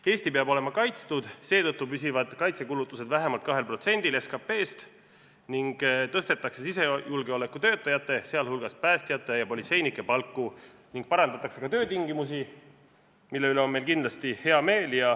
Eesti peab olema kaitstud, seetõttu püsivad kaitsekulutused vähemalt 2%-l SKP-st ning tõstetakse sisejulgeolekutöötajate, sh päästjate ja politseinike palku, ning parandatakse ka töötingimusi, mille üle on meil kindlasti hea meel.